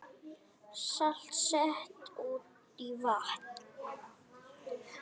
Salt sett út í vatn